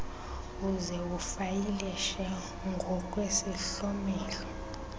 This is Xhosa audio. uze ufayilishe ngokwesihlomelo